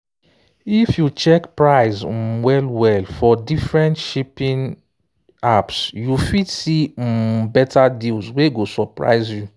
if you check price um well well for different shopping apps you fit see um better deals wey go surprise you.